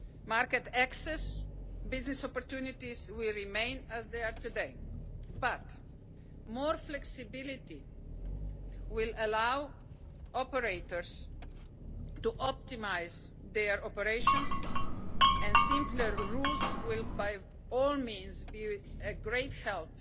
Market access and business opportunities will remain as they are today, but more flexibility will allow operators to optimise their operations, and simpler rules will certainly be of great